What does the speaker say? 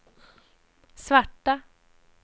svarta